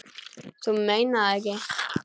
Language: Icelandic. Þú meinar það ekki.